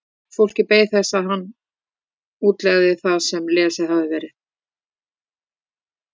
Fólkið beið þess að hann útlegði það sem lesið hafði verið.